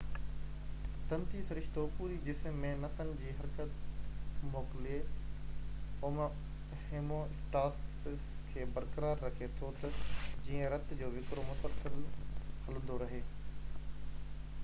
تنتي سرشتو پوري جسم ۾ نسن جي حرڪت موڪلي هوميواسٽاسس کي برقرار رکي ٿو تہ جيئن رت جو وهڪرو مسلسل هلندو رهي